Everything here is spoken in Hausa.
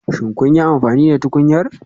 Shin kun yi amfani da tukunyar?